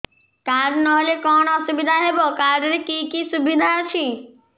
card ନହେଲେ କଣ ଅସୁବିଧା ହେବ କାର୍ଡ ରେ କି କି ସୁବିଧା ଅଛି